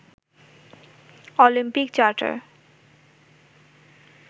Olympic charter